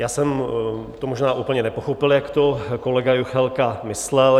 Já jsem to možná úplně nepochopil, jak to kolega Juchelka myslel.